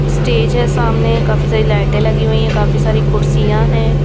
Stage है सामने काफी सारी लाइटे लगी हुई है काफी सारी कुर्सियां है।